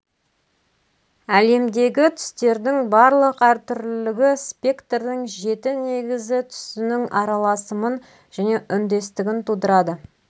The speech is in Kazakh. әлемдегі түстердің барлық әртүрлілігі спектрдің жеті негізі түсінің аралысымын және үндестігін тудырады